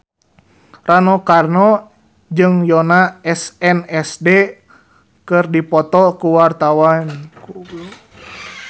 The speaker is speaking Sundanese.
Rano Karno jeung Yoona SNSD keur dipoto ku wartawan